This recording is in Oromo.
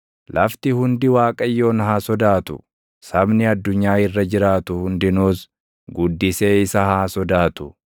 Lafti hundi Waaqayyoon haa sodaatu; sabni addunyaa irra jiraatu hundinuus, guddisee isa haa sodaatu.